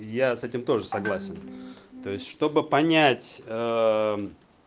я с этим тоже согласен то есть чтобы понять